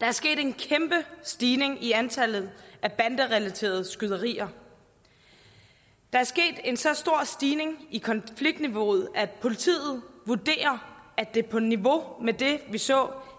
der er sket en kæmpe stigning i antallet af banderelaterede skyderier der er sket en så stor stigning i konfliktniveauet at politiet vurderer at det er på niveau med det vi så